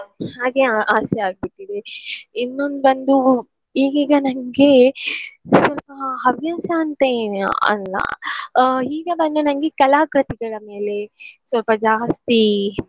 ಹಾಗೆ ಆ~ ಆಸೆ ಆಗ್ಬಿಟ್ಟಿದೆ. ಇನ್ನೊಂದ್ ಬಂದು ಈಗೀಗ ನನ್ಗೆ ಸ್ವಲ್ಪ ಹವ್ಯಾಸ ಅಂತ ಏನ್~ ಅಲ್ಲ ಆ ಈಗ ಬಂದು ನನ್ಗೆ ಕಲಾಕೃತಿಗಳ ಮೇಲೆ ಸ್ವಲ್ಪ ಜಾಸ್ತಿ.